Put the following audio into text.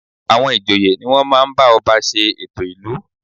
À̀wọn ìjòyè ni wọ́n máa ń bá ọba ṣe ètò ìlú